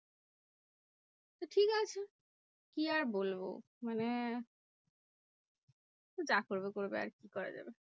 কি আর বলবো? মানে যা করবে করবে আর কি করা যাবে?